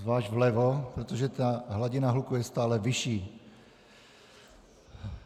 Zvlášť vlevo, protože ta hladina hluku je stále vyšší.